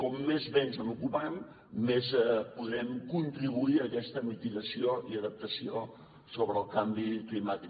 com més bé ens n’ocupem més podrem contribuir a aquesta mitigació i adaptació sobre el canvi climàtic